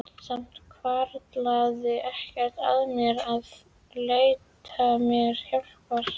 Samt hvarflaði ekki að mér að leita mér hjálpar.